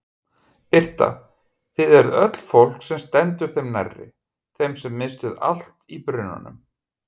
Birta: Þið eruð öll fólk sem stendur þeim nærri, þeim sem misstu allt í brunanum?